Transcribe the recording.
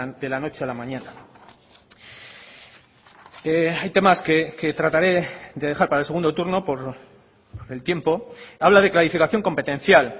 de la noche a la mañana hay temas que trataré de dejar para el segundo turno por el tiempo habla de clarificación competencial